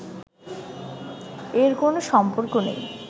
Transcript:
এর কোন সম্পর্ক নেই